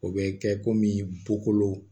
O bɛ kɛ komi bukolo